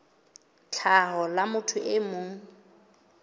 tlhaho la motho e mong